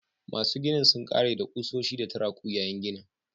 Masu ginin sun ƙare da kusoshi da turaku yayin ginin